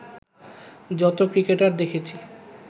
যতো ক্রিকেটার দেখেছি